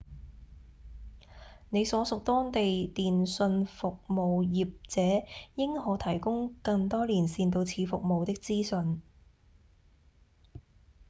你所屬當地電信服務業者應可提供更多連線到此服務的資訊